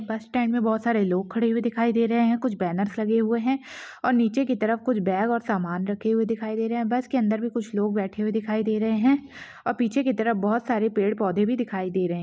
बस स्टैन्ड मे बहुत सारे लोग खड़े हुए दिखाई दे रहे है कुछ बैनर लगे हुए है और नीचे की तरफ कुछ बेग और सामान रखे हुए दिखाई दे रहे है बस के अंदर भी कुछ लोग बैठे हुए दिखाई दे रहे है और पीछे की तरफ बहुत सारे पेड़ पौधे भी दिखाई दे रहे।